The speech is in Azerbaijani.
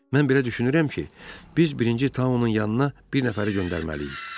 Mən belə düşünürəm ki, biz birinci Taunun yanına bir nəfəri göndərməliyik.